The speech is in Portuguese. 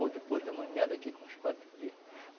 Ou depois da manhã, daqui com uns quatro dias.